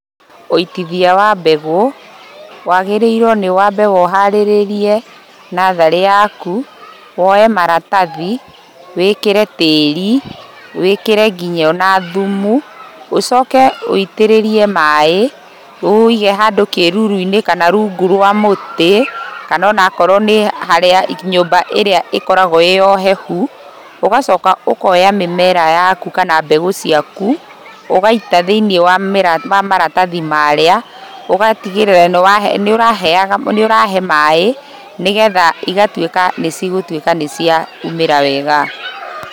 ũitithia wa mbegũ, wagĩrĩirwo nĩwaambe ũharĩrĩrie natharĩ yaku, woye maratathi, wĩkĩre tĩri wĩkĩre nginya ona thumu, ũcoke wũitĩrĩrie maĩ ũwũige handũ kĩruru-inĩ kana rungu rwa mũtĩ kana ona korwo nĩ harĩa nyũmba ĩrĩa ĩkoragwo ĩĩ ya ũhehu, ũgacoka ũkoya mĩmera yaku kana mbegũ cĩaku, ũgaita thĩ-inĩ wa maratathi marĩa ũgatigĩrĩra nĩũrahe maĩ nĩgetha igatwĩka nĩciaumĩra wega